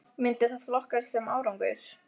Myndi það flokkast sem árangur??